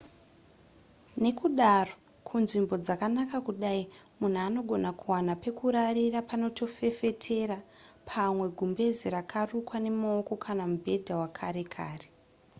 nekudaro kunzvimbo dzakanaka kudai munhu anogona kuwana pekurarira panotefetera pamwe gumbeze rakarukwa nemaoko kana mubhedha wekare kare